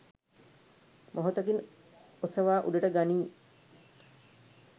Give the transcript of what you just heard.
මොහොතකින් ඔසවා උඩට ගනියි.